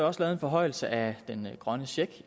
også lavet en forhøjelse af den grønne check